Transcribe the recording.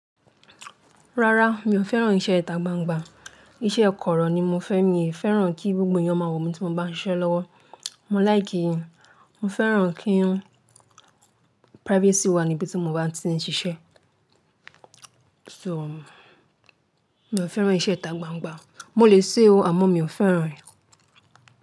Rárá, mi ò fẹ́ràn iṣẹ́ ìta gbangban Iṣẹ́ kọ̀rọ̀ ni mo fẹ́. Mi ò fẹ́ràn kí gbogbo ènìyàn máa wò mí tí mo bá ń ṣiṣẹ́ lọ́wọ́. Mo like í, mo fẹ́ràn kí privacy wà níbi tí mo bá ti ń ṣiṣẹ́. So, mi ò fẹ́ràn iṣẹ́ ìta gbangba. Mo lè ṣe ó àmọ́ mi ò fẹ́ràn rẹ̀.